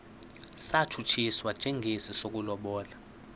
satshutshiswa njengesi sokulobola